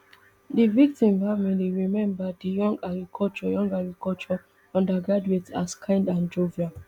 di victim family remember di young agriculture young agriculture undergraduate as kind and jovial